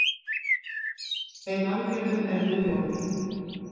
Þeim aðgerðum er nú lokið.